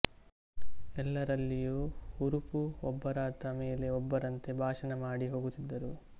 ಎಲ್ಲರಲ್ಲಿಯೂ ಹುರುಪು ಒಬ್ಬರಾದ ಮೇಲೆ ಒಬ್ಬರಂತೆ ಭಾಷಣ ಮಾಡಿ ಹೋಗುತ್ತಿದ್ದರು